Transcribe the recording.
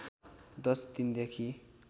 दश दिन देखि